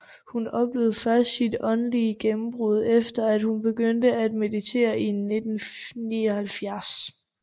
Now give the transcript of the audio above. Hun oplevede først sit åndelige gennembrud efter at hun begyndte at meditere i 1979